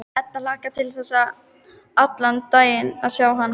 Edda hlakkar til þess allan daginn að sjá hann.